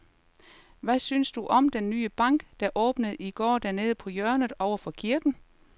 Hvad synes du om den nye bank, der åbnede i går dernede på hjørnet over for kirken?